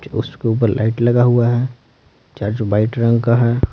उसके ऊपर लाइट लगा हुआ है चार जो वाइट रंग का है ।